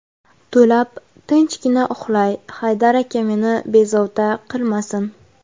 To‘lab tinchgina uxlay, Haydar aka meni bezovta qilmasin.